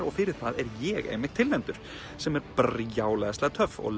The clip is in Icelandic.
og fyrir það er ég einmitt tilnefndur sem er brjálæðislega töff og